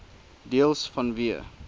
deels vanweë